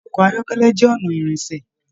Ṣe ọkọ ayọkẹlẹ jẹ ọnà ìrìnṣẹ̀?